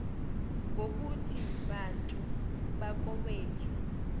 ngokuthi bantu bakowethu